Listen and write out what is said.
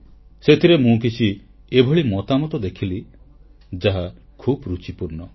ସେଥିରେ ମୁଁ କିଛି ଏଭଳି ମତାମତ ଦେଖିଲି ଯାହା ଖୁବ ଋଚିପୂର୍ଣ୍ଣ